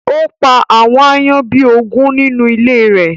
Ó pa àwọn àayan bi ógùn ninu ìlé rẹ